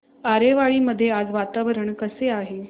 आरेवाडी मध्ये आज वातावरण कसे आहे